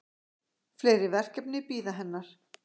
Fleiri verkefni bíða hennar.